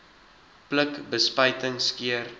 pluk bespuiting skeer